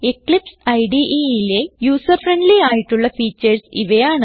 Eclipse IDEലെ user friendly ആയിട്ടുള്ള features ഇവയാണ്